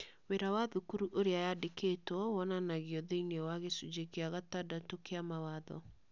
Wĩra wa thukuru ũrĩa yandĩkĩtwo wonanagio thĩinĩ wa Gĩcunjĩ gĩa gatandatũ kĩa Mawatho.